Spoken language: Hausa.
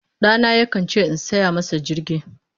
Ɗana yakan ce in saya masa jirgi.